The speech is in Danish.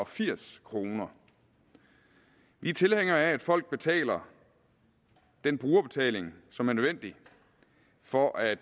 firs kroner vi er tilhængere af at folk betaler den brugerbetaling som er nødvendig for at